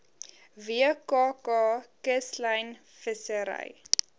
wkk kuslyn vissery